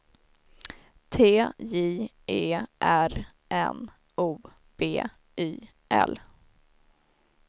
T J E R N O B Y L